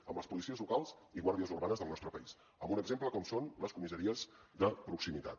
amb les policies locals i guàrdies urbanes del nostre país amb un exemple com són les comissaries de proximitat